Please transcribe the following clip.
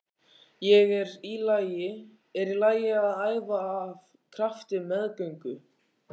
Er í lagi að æfa af krafti á meðgöngu?